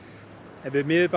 ef við miðum